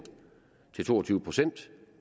til to og tyve procent